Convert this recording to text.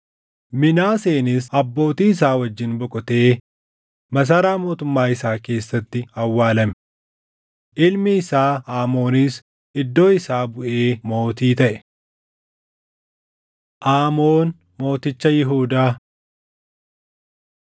Minaaseenis abbootii isaa wajjin boqotee masaraa mootummaa isaa keessatti awwaalame. Ilmi isaa Aamoonis iddoo isaa buʼee mootii taʼe. Aamoon Mooticha Yihuudaa 33:21‑25 kwf – 2Mt 21:19‑24